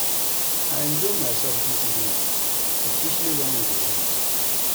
I enjoy myself dis evening especially wen we dey dance